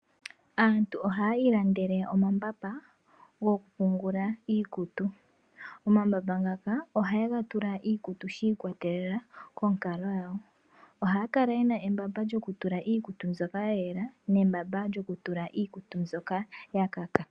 Aantu ohaya ilandele omambamba gokupungula iikutu. Omambamba ngaka ohaye ga tula iikutu shi ikwa telela konkalo yawo. Ohaya kala yena embamba lyokutula iikutu mbyoka ya yela nembba ndyoka lyokutula iikutu mbyoka ya luudha.